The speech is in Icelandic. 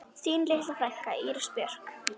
Þín litla frænka, Íris Björk.